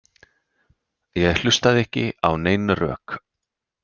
Ég hlustaði ekki á nein rök.